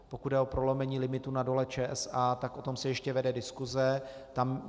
Pokud jde o prolomení limitů na Dole ČSA, tak o tom se ještě vede diskuse.